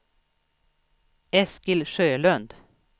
Eskil Sjölund